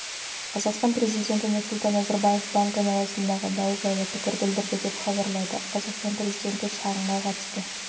қазақстан президенті нұрсұлтан назарбаев банкі айналасындағы дау жайлы пікір білдірді деп хабарлайды қазақстан президенті шағымға қатысты